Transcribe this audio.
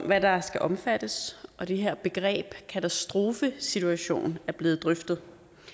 hvad der skal omfattes og det her begreb katastrofesituation er blevet drøftet